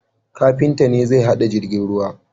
Kafinta ne zai hada jirgin ruwa